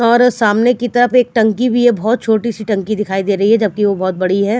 और सामने की तरफ एक टंकी भी है बहोत छोटी सी टंकी दिखाई दे रही है जब कि वो बहोत बड़ी है।